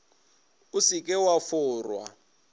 o se ke wa forwa